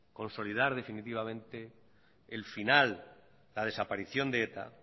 consolidar definitivamente la desaparición de eta